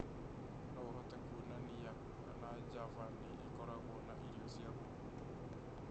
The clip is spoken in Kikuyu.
No ũhote kuonania kana java nĩ ĩkoragwo na irio cia gũkuua